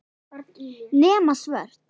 Nema svört.